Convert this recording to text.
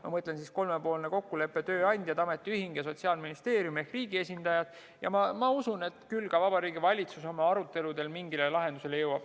Ma mõtlen kolmepoolset kokkulepet tööandjate, ametiühingu ja Sotsiaalministeeriumi ehk riigi esindaja vahel ja usun, et küll ka Vabariigi Valitsus oma aruteludel mingile lahendusele jõuab.